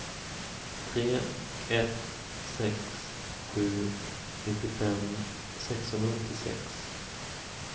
tre ett sex sju nittiofem sexhundraåttiosex